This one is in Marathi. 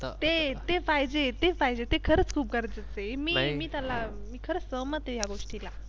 ते ते पाहिजे ते पाहिजे ते खरंच खूप गरजेचं आहे. मी त्याला खरंच सहमत आहे ह्या गोष्टीला.